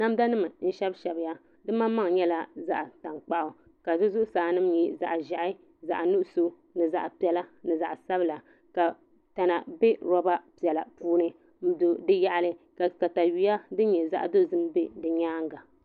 Namda nim n shɛbi shɛbiya di maŋmaŋ nyɛla zaɣ tankpaɣu ka di zuɣusaa nim nyɛ zaɣ ʒiɛhi zaɣ nuɣso ni zaɣ piɛla ni zaɣ sabila ka tana bɛ roba piɛla puuni n do di yaɣali ka katawiya din nyɛ zaɣ dozim do di nyaanga